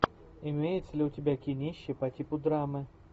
имеется ли у тебя кинище по типу драмы